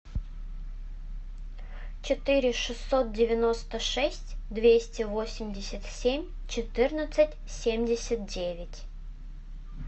четыре шестьсот девяносто шесть двести восемьдесят семь четырнадцать семьдесят девять